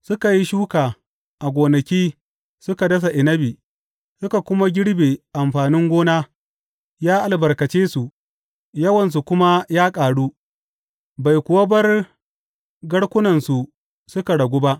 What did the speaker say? Suka yi shuka a gonaki suka dasa inabi suka kuma girbe amfani gona; ya albarkace su, yawansu kuma ya ƙaru, bai kuwa bar garkunansu suka ragu ba.